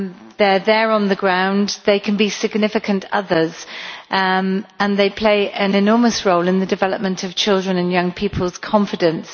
They are there on the ground, they can be significant others, and they play an enormous role in the development of children's and young people's confidence.